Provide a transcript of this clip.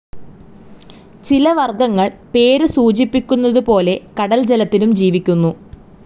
ചില വർഗ്ഗങ്ങൾ പേര് സൂചിപ്പിക്കുന്നതുപോലെ കടൽ ജലത്തിലും ജീവിക്കുന്നു.